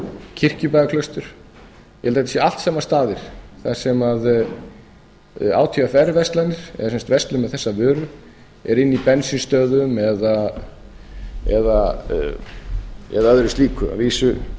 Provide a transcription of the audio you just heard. kirkjubæjarklaustur ég held að þetta séu allt saman staðir þar sem átvr verslanir eða sem sagt verslun með þessar vörur er inni í bensínstöðvum eða öðru slíku að vísu